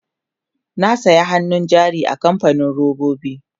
na saya hannun jari a kamfanin robobi